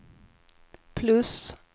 plus